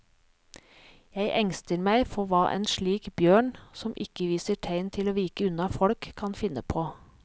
Jeg engster meg for hva en slik bjørn, som ikke viser tegn til å vike unna folk, kan finne på.